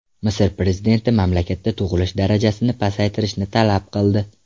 Misr prezidenti mamlakatda tug‘ilish darajasini pasaytirishni talab qildi.